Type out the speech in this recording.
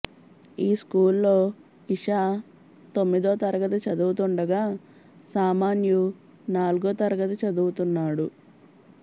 ఈ స్కూల్లో ఇషా తొమ్మిదో తరగతి చదువుతుండగా సామాన్యు నాలుగో తరగతి చదువుతున్నాడు